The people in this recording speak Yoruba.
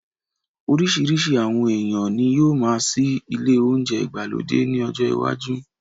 Orísirísi àwọn èèyàn ní yóó máa ṣí ile ounjẹ ìgbàlódé ní ọjọ iwájú